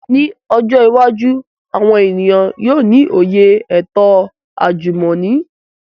Ni ojo iwaju, awọn eniyan yoo ni oye eto ajumọni